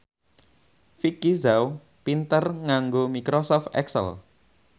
Vicki Zao pinter nganggo microsoft excel